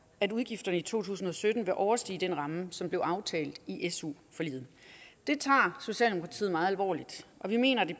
at udgifterne i to tusind og sytten vil overstige den ramme som blev aftalt i su forliget det tager socialdemokratiet meget alvorligt og vi mener at det